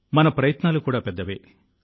మన ప్రయత్నాలు కూడా పెద్దవే